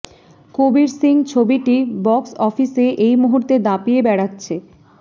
কবীর সিং ছবিটি বক্স অফিসে এই মুহূর্তে দাপিয়ে বেড়াচ্ছে